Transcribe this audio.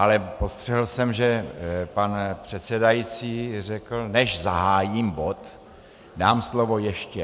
Ale postřehl jsem, že pan předsedající řekl, než zahájím bod, dám slovo ještě...